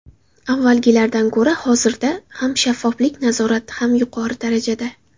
Avvalgilardan ko‘ra hozirda ham shaffoflik, nazorat ham yuqori darajada.